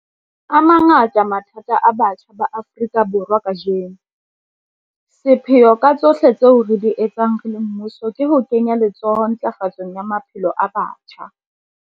A mangata mathata a batjha ba Afrika Borwa kajeno. Sepheo ka tsohle tseo re di etsang re le mmuso ke ho kenya letsoho ntlafatsong ya maphelo a batjha.